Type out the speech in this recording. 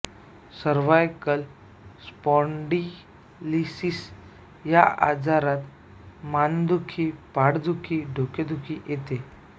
cervical spondylosis या आजारात मानदुखी पाठदुखी डोकेदुखी येते